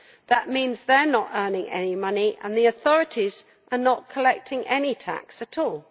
That means they are not earning any money, and the authorities are not collecting any tax at all.